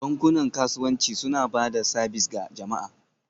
Bankunan kasuwanci suna ba da sabis ga jama'a